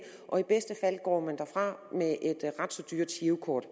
og i bedste fald går man derfra med et girokort